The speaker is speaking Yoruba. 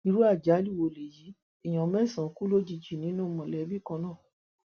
irú àjálù wo léyìí èèyàn mẹsànán kú lójijì nínú mọlẹbí kan náà